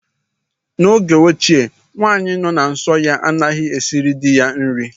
N'oge ochie, nwaanyị nọ na nsọ ya anaghị esiri dị ya nri.